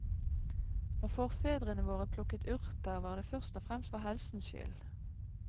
Når forfedrene våre plukket urter, var det først og fremst for helsens skyld.